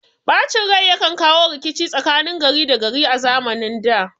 Ɓacin rai yakan kawo rikici tsakanin gari da gari a zamanin da